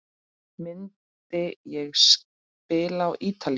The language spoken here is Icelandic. Myndi ég spila á Ítalíu?